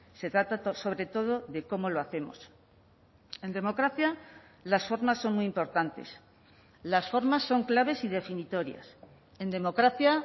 se trata sobre todo de cómo lo hacemos en democracia las formas son muy importantes las formas son claves y definitorias en democracia